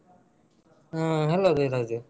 ಹಾ hello ಧೀರಜ್.